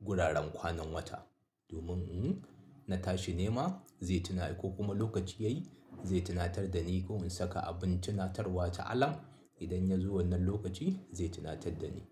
guraren kwanan wata. Domin in na tashi nema zai tuna yi ko kuma lokaci yayi zai tunatar da ni ko in saka abin tunatarwa ta alam idan ya zo wannan lokaci zai tunatar da ni.